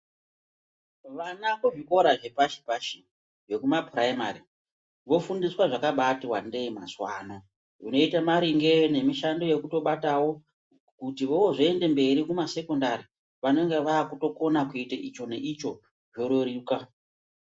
Vana kuzvikora zvepashi pashi vekumaphuraimari vofundiswa zvakabaati wandei mazuwa ano zvinoota maringe nemishando yekutobatawo kuti vozooende mberi kumasekondari vanenge vaakutokona kuita icho neicho zvoreruka.